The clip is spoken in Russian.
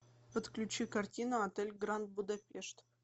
подключи картину отель гранд будапешт